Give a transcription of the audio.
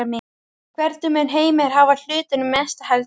Hvernig mun Heimir hafa hlutina um næstu helgi?